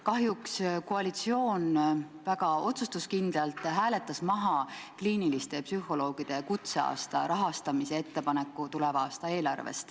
Kahjuks hääletas koalitsioon tuleva aasta eelarvest väga otsusekindlalt välja kliiniliste psühholoogide kutseaasta rahastamise ettepaneku.